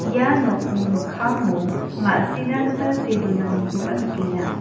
ia nokni mikkango ma·sina gita see donanikoba nikenga.